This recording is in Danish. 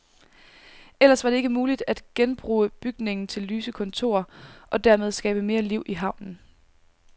Ellers var det ikke muligt at genbruge bygningen til lyse kontorer, og dermed skabe mere liv i havnen.